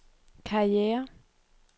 karriere